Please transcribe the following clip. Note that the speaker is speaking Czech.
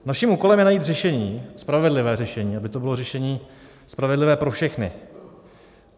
Naším úkolem je najít řešení, spravedlivé řešení, aby to bylo řešení spravedlivé pro všechny.